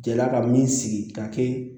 Jelila ka min sigi ka kɛ